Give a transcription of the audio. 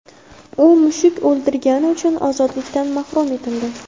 U mushuk o‘ldirgani uchun ozodlikdan mahrum etildi.